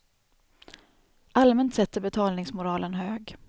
Allmänt sett är betalningsmoralen hög.